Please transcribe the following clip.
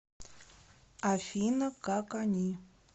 афина как они